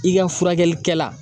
I ka furakɛlikɛ la